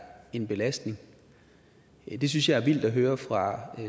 en belastning det synes jeg er vildt at høre fra